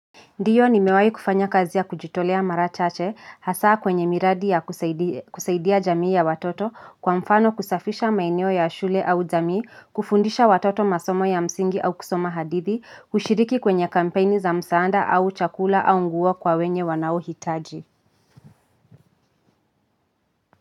Ndiyo nimewai kufanya kazi ya kujitolea mara chache hasaa kwenye miradi ya kusaidia jamii ya watoto kwa mfano kusafisha maeneo ya shule au jamii, kufundisha watoto masomo ya msingi au kusoma hadithi, kushiriki kwenye kampeni za msaada au chakula au nguo kwa wenye wanao hitaji.